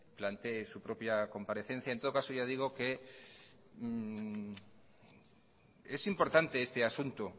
plantee su propia comparecencia en todo caso ya digo que es importante este asunto